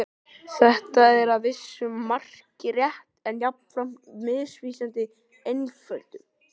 Þetta er að vissu marki rétt en jafnframt misvísandi einföldun.